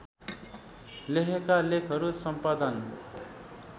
लेखेका लेखहरू सम्पादन